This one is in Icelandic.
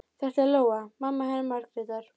Þetta er Lóa, mamma hennar Margrétar.